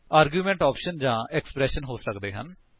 arguments options ਜਾਂ expressions ਹੋ ਸਕਦੇ ਹਨ